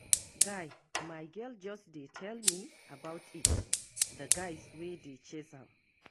Guy, my girl just dey tell me about it the guys wey dey chase am.